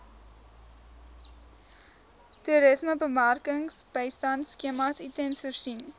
toerismebemarkingsbystandskema itmas voorsien